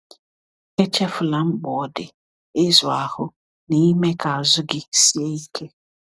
Echefula mkpa ọ dị ịzụ ahụ na ime ka azụ gị sie ike.